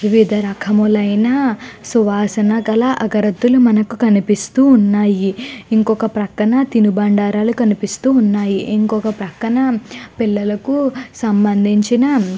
వివిధ రకములైన అగరత్తులు కనిపిస్తూ ఉన్నాయి. ఇంకొక పక్కన తిను బండారాలు కనిపిస్తూ ఉన్నాయి. ఇంకొక పక్కన పిల్లలకు సంబంధించిన --